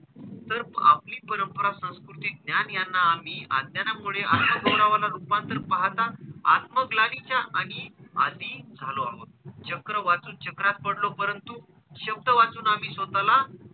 तर आपली परंपरा, संस्कृती, ज्ञान यांना आम्ही अज्ञानानामुळे रुपांतर पाहता आत्मग्लानीच्या आम्ही अधीन झालो आहोत. चक्र वाचून चक्रात पडलो परंतु शब्द वाचून आम्ही स्वतःला,